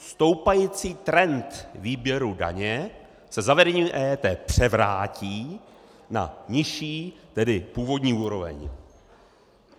Stoupající trend výběru daně se zavedením EET převrátí na nižší, tedy původní úroveň.